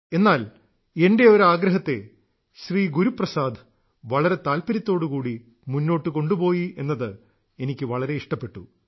എന്നാൽ എന്റെ ഒരാഗ്രഹത്തെ ശ്രീ ഗുരുപ്രസാദ് വളരെ താല്പര്യത്തോടു കൂടി മുന്നോട്ടു കൊണ്ടുപോയി എന്നത് എനിക്ക് വളരെ ഇഷ്ടപ്പെട്ടു